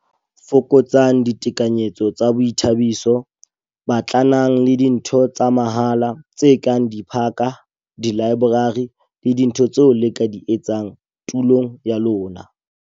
Fokotsang ditekanyetso tsa boithabiso - Batlanang le dintho tsa mahala, tse kang diphaka, dilaeborari le dintho tseo le ka di etsang tulong ya lona.